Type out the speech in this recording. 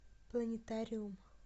планетариум